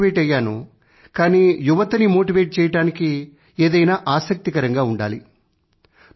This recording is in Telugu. నేను మోటివేట్ అయ్యాను కానీ యువతని మోటివేట్ చెయ్యడానికి ఏదైనా ఆసక్తికరంగా ఉండాలి